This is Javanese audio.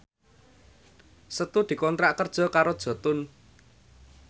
Setu dikontrak kerja karo Jotun